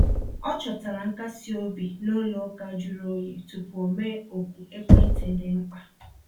O chọtara nkasi obi n’ụlọ ụka jụrụ oyi tupu o mee oku ekwentị dị mkpa.